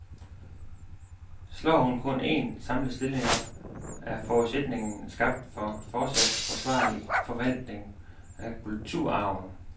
Slår hun kun en, samlet stilling op, er forudsætningen skabt for fortsat forsvarlig forvaltning af kulturarven.